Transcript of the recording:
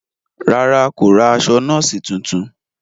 Ràrá, kò ra aṣọ nọọsi tuntun